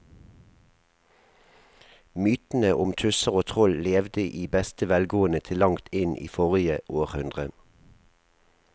Mytene om tusser og troll levde i beste velgående til langt inn i forrige århundre.